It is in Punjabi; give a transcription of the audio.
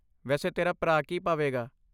ਵੈਸੇ ਤੇਰਾ ਭਰਾ ਕੀ ਪਾਵੇਗਾ?